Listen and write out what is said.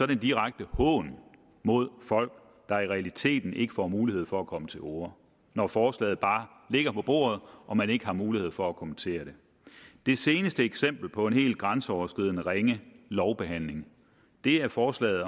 det en direkte hån mod folk der i realiteten ikke får mulighed for at komme til orde når forslaget bare ligger på bordet og man ikke har mulighed for at kommentere det det seneste eksempel på en helt grænseoverskridende ringe lovbehandling er forslaget